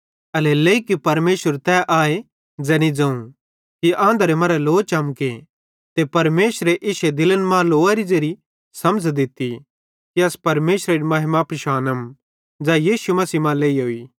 एल्हेरेलेइ कि परमेशर तै आए ज़ैनी ज़ोवं कि आंधरे मरां लो चमके ते परमेशरे इश्शे दिलन मां लोअरी ज़ेरी समझ़ दित्ती कि अस परमेशरेरी महिमा पिशानम ज़ै यीशु मसीह मां लेइहोई